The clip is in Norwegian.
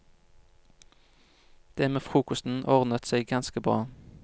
Det med frokosten ordnet seg ganske bra.